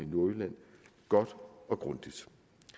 nordjylland godt og grundigt